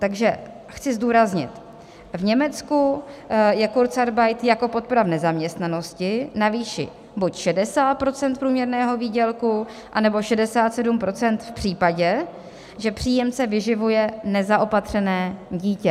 Takže chci zdůraznit: v Německu je kurzarbeit jako podpora v nezaměstnanosti na výši buď 60 % průměrného výdělku, anebo 67 % v případě, že příjemce vyživuje nezaopatřené dítě.